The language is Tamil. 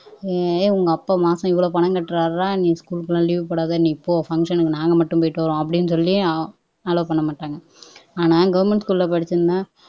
ஏய் உங்க அப்பா மாசம் இவ்வளவு பணம் கட்டுறார்டா நீ ஸ்கூல்க்கு எல்லாம் லீவ் போடாத நீ போ பங்சனுக்கு நாங்க மட்டும் போயிட்டு வாரோம் அப்படின்னு சொல்லி அலவ் பண்ண மாட்டாங்க ஆனா கவர்ன்மென்ட் ஸ்கூல்ல படிச்சிருந்தா